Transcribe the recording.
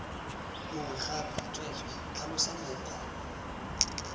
mongwe gape tsweetswee tlhalosa mokgwa